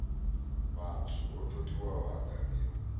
matswu o totiwaho a gamiwa